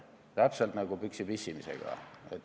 See on täpselt nagu püksi pissimisega.